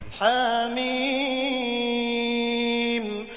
حم